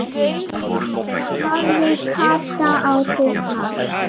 Þá barði Kata á dyrnar.